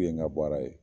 N ka baara ye